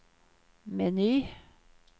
meny